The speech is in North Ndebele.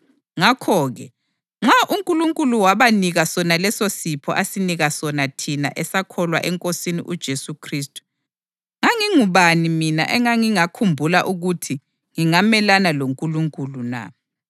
Ngakho-ke, nxa uNkulunkulu wabanika sona lesosipho asinika sona thina esakholwa eNkosini uJesu Khristu, ngangingubani mina engangingakhumbula ukuthi ngingamelana loNkulunkulu na?”